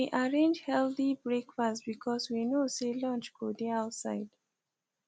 we arrange healthy breakfast because we know say lunch go dey outside